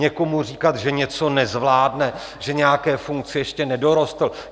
Někomu říkat, že něco nezvládne, že nějaké funkci ještě nedorostl...